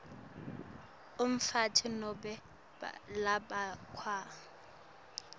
umfati nobe labafakwe